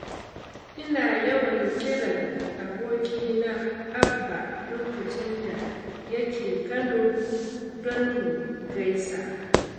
Ina yawan kiran abokina Abba lokacin da yake Kano don mu gaisa.